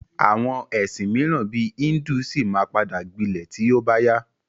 Àwọn ẹ̀sìn míràn bíi híndù ṣì ma padà gbilẹ̀ tí ó bá yá.